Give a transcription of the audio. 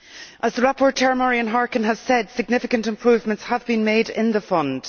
As the rapporteur Marian Harkin has said, significant improvements have been made in the fund.